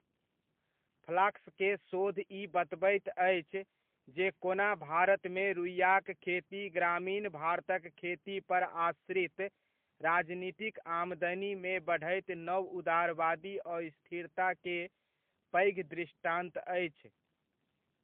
Flask के शोध ई बतबैत अछि, जे कोना भारतमे रुइआक खेती 'ग्रामीण भारतक खेती पर आश्रित राजनीतिक आमदनीमे बढ़ैत नवउदारवादी अस्थिरता' के पैघ दृष्टान्त अछि।